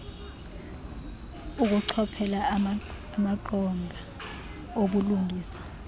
ukuchophela amaqonga obulungisa